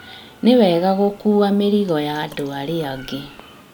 Nĩ wega gũkuua mĩrigo ya andũ arĩa angĩ